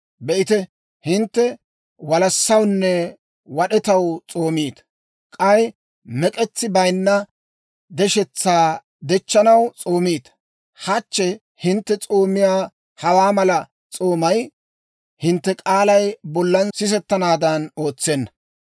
Be'ite, hintte walassawunne wad'etaw s'oomiita; k'ay mek'etsi bayinna deshetsaa dechchanaw s'oomiita. Hachche hintte s'oomiyaa hawaa mala s'oomay, hintte k'aalay bollan sisettanaadan ootsenna.